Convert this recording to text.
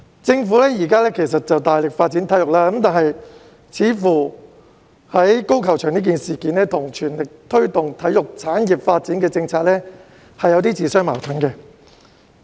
政府現時大力發展體育，但高爾夫球場一事卻似乎與全力推動體育產業發展的政策自相矛盾。